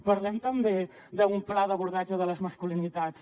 parlem també d’un pla d’abordatge de les masculinitats